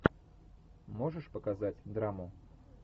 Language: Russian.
можешь показать драму